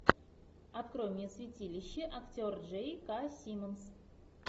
открой мне святилище актер джей к симмонс